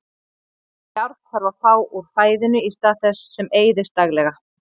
Járn þarf að fá úr fæðinu í stað þess sem eyðist daglega.